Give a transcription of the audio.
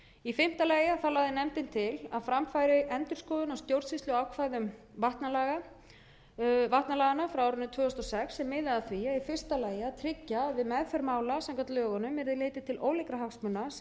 í fimmta lagi lagði nefndin til að fram færi endurskoðun á stjórnsýsluákvæðum vatnalaganna frá árinu tvö þúsund og sex sem miðaði að því í fyrsta lagi að tryggja að við meðferð mála samkvæmt lögunum yrði litið til ólíkra hagsmuna sem við vatnsauðlindina eru